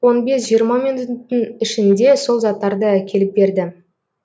он бес жиырма минуттың ішінде сол заттарды әкеліп берді